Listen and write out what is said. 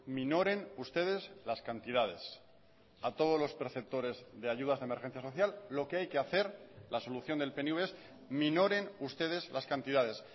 minoren ustedes las cantidades a todos los perceptores de ayudas de emergencia social lo que hay que hacer la solución del pnv es minoren ustedes las cantidades